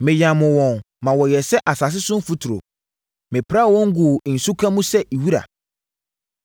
Meyamoo wɔn ma wɔyɛɛ sɛ asase so mfuturo; mepraa wɔn guu nsuka mu sɛ wira.